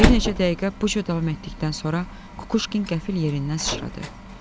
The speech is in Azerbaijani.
Bir neçə dəqiqə bu cür davam etdikdən sonra Kukuşkin qəfil yerindən sıçradı.